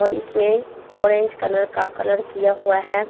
और इसमें orange colour का कलर किया हुआ है।